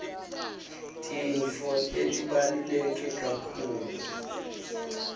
tintfo letibaluleke kakhulu